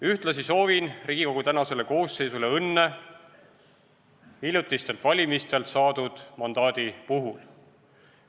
Ühtlasi soovin Riigikogu praegusele koosseisule õnne hiljutistelt valimistelt saadud mandaadi puhul.